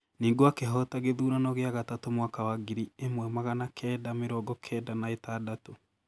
Ningũ akĩhota gĩthurano gĩa gatatũ mwaka wa ngiri ĩmwe magana kenda mĩrongo kenda na ĩtandatũ.